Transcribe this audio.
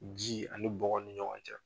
Ji ani bɔgɔ ni ɲɔgɔn cɛ.